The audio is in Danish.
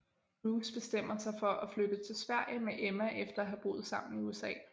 Bruce bestemmer sig for at flytte til Sverige med Emma efter at have boet sammen i USA